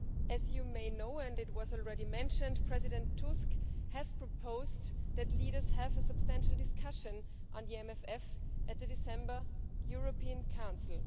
As you may know and this has already been mentioned President Tusk has proposed that leaders have a substantial discussion on the MFF at the December European Council.